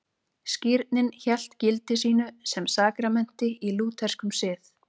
Skírnin hélt gildi sínu sem sakramenti í lútherskum sið.